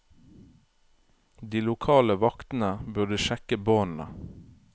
De lokale vaktene burde sjekke båndene.